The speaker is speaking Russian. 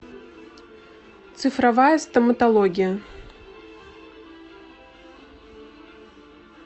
цифровая стоматология